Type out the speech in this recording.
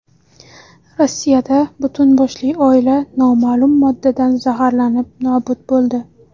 Rossiyada butun boshli oila noma’lum moddadan zaharlanib nobud bo‘ldi.